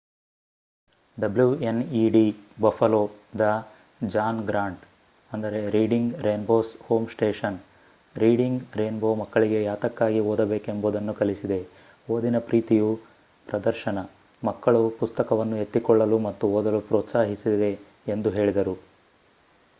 WNED Buffalo the John Grant Reading Rainbow's home station Reading Rainbow ಮಕ್ಕಳಿಗೆ ಯಾತಕ್ಕಾಗಿ ಓದಬೇಕೆಂಬುದನ್ನು ಕಲಿಸಿದೆ,... ಓದಿನ ಪ್ರೀತಿಯು - [ಪ್ರದರ್ಶನ] ಮಕ್ಕಳು ಪುಸ್ತಕವನ್ನು ಎತ್ತಿಕೊಳ್ಳಲು ಮತ್ತು ಓದಲು ಪ್ರೋತ್ಸಾಹಿಸಿದೆ ಎಂದು ಹೇಳಿದರು